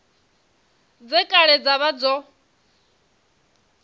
dze kale dza vha dzo